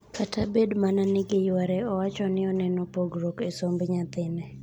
Kata bed mana ni giyware, owacho ni oneno pogruok e somb nyathine.